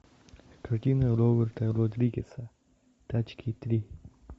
картина роберта родригеса тачки три